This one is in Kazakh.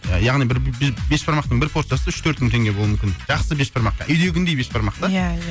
яғни бір бешбармақтың бір порциясы үш төрт мың теңге болу мүмкін жақсы бешбармақ үйдегіндей бешбармақ та иә иә